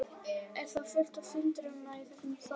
Er þá fullt af syndurum í þessu þorpi?